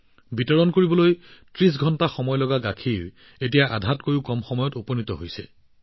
আগতে যিখিনি গাখীৰ পোৱাত ৩০ ঘণ্টা সময় লাগিছিল এতিয়া আধাতকৈও কম সময়ৰ ভিতৰতে পোৱা গৈছে